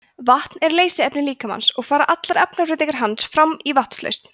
vatn er leysiefni líkamans og fara allar efnabreytingar hans fram í vatnslausn